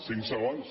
cinc segons